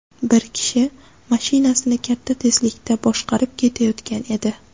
Bir kishi mashinasini katta tezlikda boshqarib ketayotgan edi.